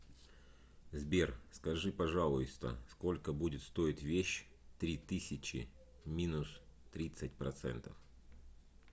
сбер скажи пожалуйста сколько будет стоить вещь три тысячи минус тридцать процентов